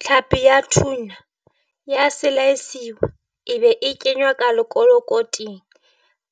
Tlhapi ya tuna ya selaesiwa e be e kenywa ka lekolokoting